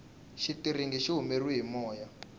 xitiringi xi humeriwe hi moya